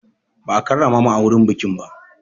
Ba a karrama mu a wurin bikin ba.